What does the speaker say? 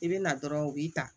I bɛ na dɔrɔn u b'i ta